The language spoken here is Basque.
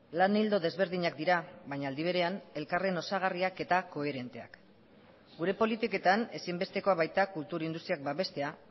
lan ildo desberdinak dira baina aldi berean elkarren osagarriak eta koherenteak gure politiketan ezinbestekoa baita kultur industriak babestea